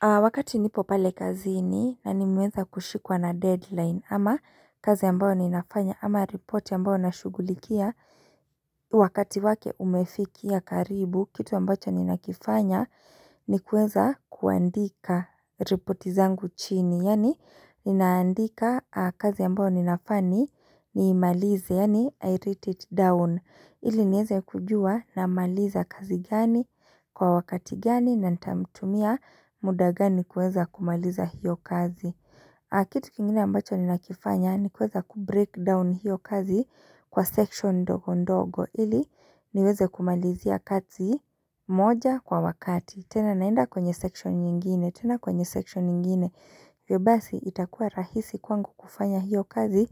Wakati nipo pale kazini na nimeweza kushikwa na deadline ama kazi ambayo ninafanya ama ripoti ambayo nashughulikia wakati wake umefikia karibu kitu ambacho nina kifanya ni kuweza kuandika reporti zangu chini. Yaani ninaandika kazi ambayo ninafaa ni, niimalize, yaani, 'I write it down, ' ili nieze kujua namaliza kazi gani, kwa wakati gani, na nitamtumia muda gani kuweza kumaliza hiyo kazi Kitu kingine ambacho ninakifanya ni kuweza kubreak down hiyo kazi kwa section ndogo ndogo ili niweze kumalizia kazi moja kwa wakati. Tena naenda kwenye section nyingine, tena kwenye section nyingine. Hivyo basi itakuwa rahisi kwangu kufanya hiyo kazi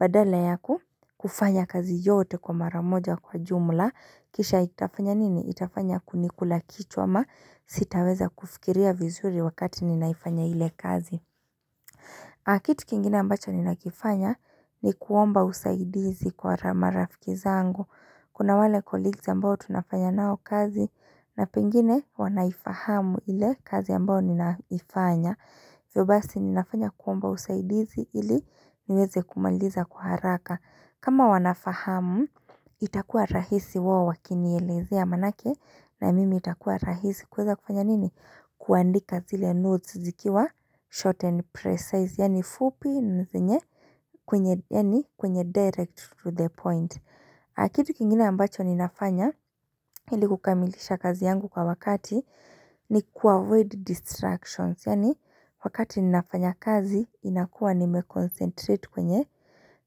badala ya kufanya kazi yote kwa mara moja kwa jumla kisha itafanya nini? Itafanya kunikula kichwa ama sitaweza kufikiria vizuri wakati ninaifanya ile kazi na kitu kingine ambacho ninakifanya ni kuomba usaidizi kwa marafiki zangu. Kuna wale colleagues ambao tunafanya nao kazi na pengine wanaifahamu ile kazi ambao ninaifanya Hivyo basi ninafanya kuomba usaidizi ili niweze kumaliza kwa haraka. Kama wanafahamu, itakuwa rahisi wawe wakinielezea manake na mimi itakuwa rahisi kuweza kufanya nini? Kuandika zile notes zikiwa short and precise. Yaani fupi na zenye, yaani kwenye direct to the point na kitu kingine ambacho ninafanya ili kukamilisha kazi yangu kwa wakati ni kuavoid distractions. Yaani wakati ninafanya kazi inakuwa nimeconcentrate kwenye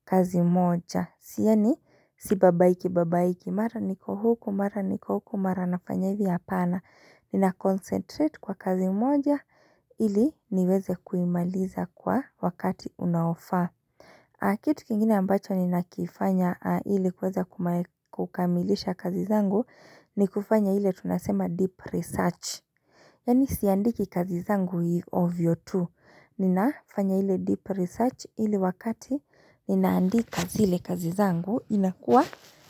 kazi moja. Sio ni si babaiki babaiki mara niko huku, mara niko huku, mara nafanya hivi, hapana. Ninaconcentrate kwa kazi moja ili niweze kuimaliza kwa wakati unaofaa. Kitu kingine ambacho ninakifanya ili kuweza kukamilisha kazi zangu ni kufanya ile tunasema, 'deep research' Yaani siandiki kazi zangu ovyo ttu, ninafanya ile deep research ili wakati ninaandika zile kazi zangu inakua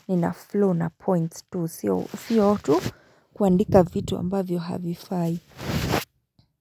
nina flow na points tu, sio tu kuandika vitu ambavyo havifai.